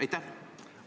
Aitäh!